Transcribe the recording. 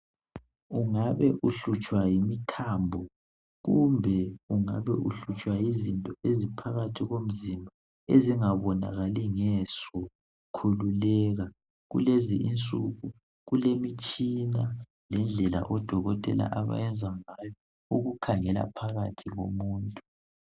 Ungabe uhlutshwa yimithambo, kumbe ungabe uhlutshwa yizinto eziphakathi komzimba, ezingabonakali ngeso. Khululeka kulezi insuku kulemitshina lendlela odokotela abayenza ngayo ukukhangale ngaphakathi komuntu.